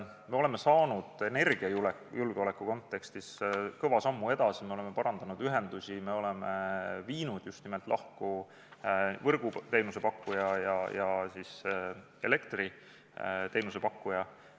Me oleme astunud energiajulgeoleku kontekstis pika sammu edasi, me oleme parandanud ühendusi, me oleme viinud just nimelt lahku võrguteenuse pakkuja ja elektriteenuse pakkuja.